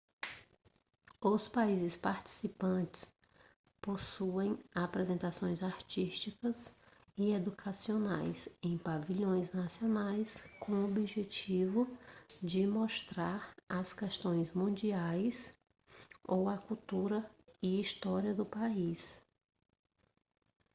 os países participantes possuem apresentações artísticas e educacionais em pavilhões nacionais com objetivo de mostrar as questões mundiais ou a cultura e história do país